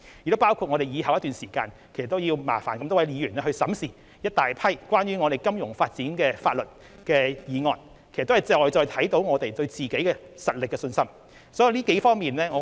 此外，在往後一段時間，我們要麻煩各位議員審視大量有關金融發展的法案，這些工作都顯示我們對自己的實力有信心。